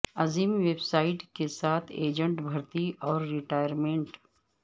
عظیم website کے ساتھ agent بھرتی اور ریٹائرمنٹ